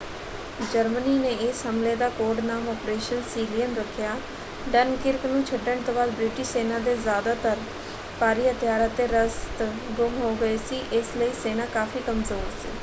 Germany ਨੇ ਇਸ ਹਮਲੇ ਦਾ ਕੋਡ-ਨਾਮ ਆਪ੍ਰੇਸ਼ਨ ਸੀਲੀਅਨ ਰੱਖਿਆ। ਡਨਕਿਰਕ ਨੂੰ ਛੱਡਣ ਤੋਂ ਬਾਅਦ ਬ੍ਰਿਟਿਸ਼ ਸੈਨਾ ਦੇ ਜਿਆਦਾਤਰ ਭਾਰੀ ਹਥਿਆਰ ਅਤੇ ਰਸਦ ਗੁੰਮ ਹੋ ਗਈ ਸੀ ਇਸ ਲਈ ਸੈਨਾ ਕਾਫ਼ੀ ਕਮਜ਼ੋਰ ਸੀ।